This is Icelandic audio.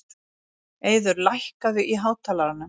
Eiður, lækkaðu í hátalaranum.